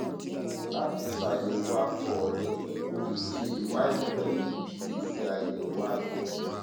láti ṣàyẹwò àtọ rẹ o lè ṣe ìwádìí pẹlú èsì àyẹwò àtọ